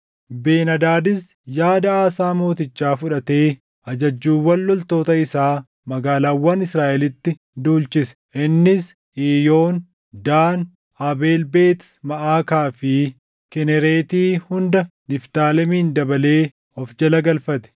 Ben-Hadaadis yaada Aasaa Mootichaa fudhatee ajajjuuwwan loltoota isaa magaalaawwan Israaʼelitti duulchise. Innis Iiyoon, Daan, Abeel Beet Maʼaakaa fi Kinereeti hunda Niftaalemin dabalee of jala galfate.